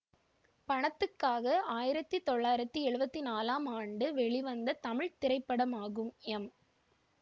பணத்துக்காக ஆயிரத்தி தொள்ளாயிரத்தி எழுவத்தி நான்ளாம் ஆண்டு வெளிவந்த தமிழ் திரைப்படமாகும் எம்